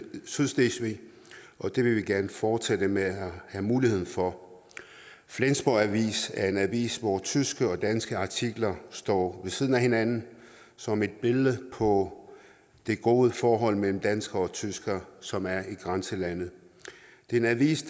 sydslesvig og det vil vi gerne forsætte med at have mulighed for flensborg avis er en avis hvori tyske og danske artikler står ved siden af hinanden som et billede på det gode forhold mellem danskere og tyskere som er i grænselandet det er en avis